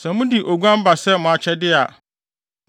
Sɛ mode oguan ba sɛ mo akyɛde a,